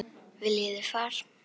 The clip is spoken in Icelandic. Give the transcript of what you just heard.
Viljið þið far?